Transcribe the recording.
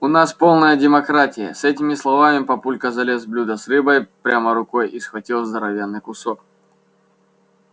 у нас полная демократия с этими словами папулька залез в блюдо с рыбой прямо рукой и схватил здоровенный кусок